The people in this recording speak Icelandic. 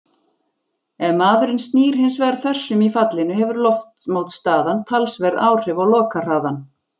Ef maðurinn snýr hins vegar þversum í fallinu hefur loftmótstaðan talsverð áhrif á lokahraðann.